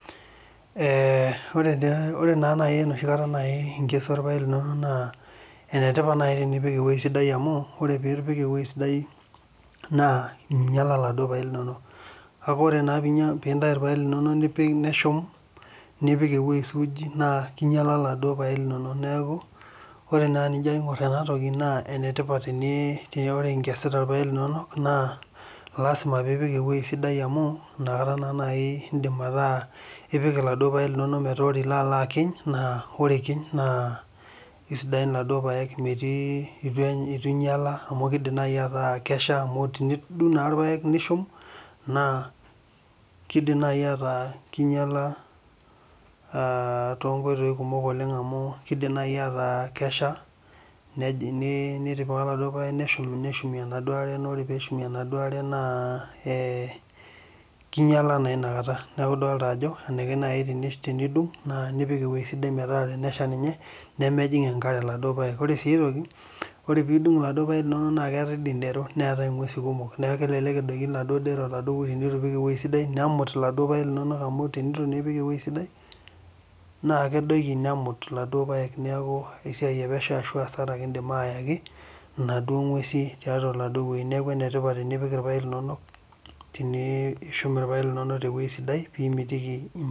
Ee ore na enoshi kata inkesua irpaek linonok na enikash enipik ewoi sidai amu minyala laduo paek linonok kake ore pintau irpaek linonok nipik ewoi suuji na kinyala kulo paek linonok neaku ore enijo aingu enatoki na lasima pipik ewoi sidai metaa ore pilo akiny naa isidain laduo paek ituinyala amu tenidumg na irpaek nishum kidim nai ataa kinyala tonkoitoi kumok amu keshal neshumie enaduo aare naa ee kinyala naa inakata neaku enikashu tenishuk pemejing enkare inakata ore si tenidung neetae indero na kelelek edoki ndero enitu ipik ewoi sidai nemut laduo paek linonok tenitu ipik ewoi sidai na kedoki nemut laduo paek neaku essiai etipat tenishum irpaek linonok tewoi sidai pimitiki